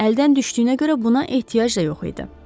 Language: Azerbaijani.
Əldən düşdüyünə görə buna ehtiyac da yox idi.